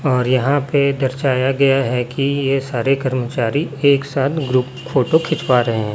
और यहां पे दर्शाया गया है कि ये सारे कर्मचारी एक साथ ग्रुप फोटो खिंचवा रहे--